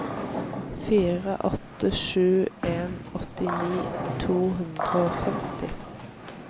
fire åtte sju en åttini to hundre og femti